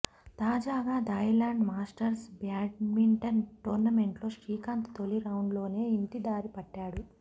తాజాగా Thailand Masters badminton టోర్నమెంట్లో శ్రీకాంత్ తొలి రౌండ్లోనే ఇంటిదారి పట్టాడు